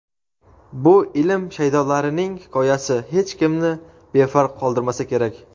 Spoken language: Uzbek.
Bu ilm shaydolarining hikoyasi hech kimni befarq qoldirmasa kerak.